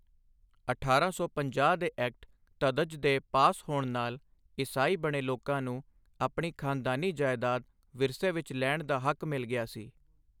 ਅਠਾਰਾਂ ਸੌ ਪੰਜਾਹ ਦੇ ਐਕਟ ਧਧਜ਼ ਦੇ ਪਾਸ ਹੋਣ ਨਾਲ ਈਸਾਈ ਬਣੇ ਲੋਕਾਂ ਨੂੰ ਆਪਣੀ ਖਾਨਦਾਨੀ ਜਾਇਦਾਦ ਵਿਰਸੇ ਵਿਚ ਲੈਣ ਦਾ ਹੱਕ ਮਿਲ ਗਿਆ ਸੀ।